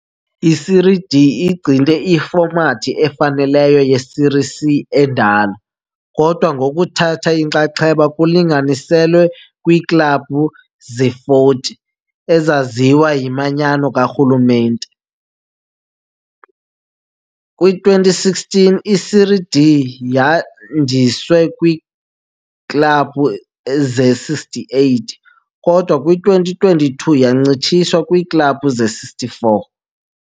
I-Série D igcina ifomathi efanayo ye-Série C endala, kodwa ngokuthatha inxaxheba kulinganiselwe kwiiklabhu ze-40 ezaziwa yimanyano karhulumente. Kwi-2016 i-Série D yandiswa kwiiklabhu ze-68, kodwa kwi-2022 yancitshiswa kwiiklabhu ze-64.